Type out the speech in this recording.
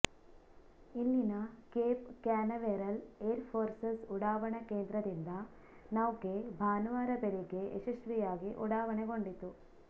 ಇಲ್ಲಿನ Cape Canaveral Air Forces ಉಡಾವಣಾ ಕೇಂದ್ರದಿಂದ ನೌಕೆ ಭಾನುವಾರ ಬೆಳಗ್ಗೆ ಯಶಸ್ವಿಯಾಗಿ ಉಡಾವಣೆಗೊಂಡಿತು